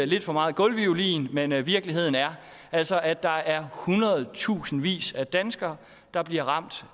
lidt for meget gulvviolin men virkeligheden er altså at der er hundredetusindvis af danskere der bliver ramt